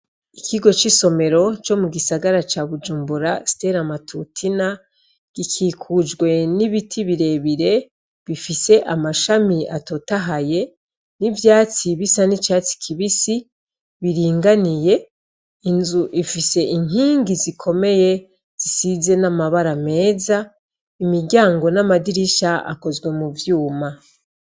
Ikigo c'isomero co mugisagara ca bujumbura stella matutina gikikujwe n'ibiti birebire bifise amashami atotahaye, n'ivyatsi bisa n'icatsi kibisi biringaniye, inzu ifise inkingi zikomeye zisize n'amabara meza, imiryango n'amadirisha akozwe muvyuma.